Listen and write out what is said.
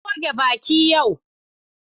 Na goge baki yau.